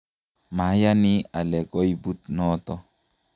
mayani ale koibut noto